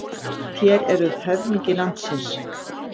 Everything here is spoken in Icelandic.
Þér eruð höfðingi landsins.